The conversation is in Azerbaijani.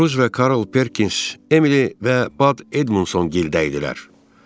Ruz və Karl Perkins Emili və Bad Edmundson gildə idilər.